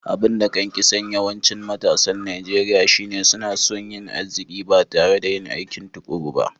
Abun da kan kisan yawancin matasan Nijeriya shine suna so yin aziki ba tare da yin aikin tukuru ba.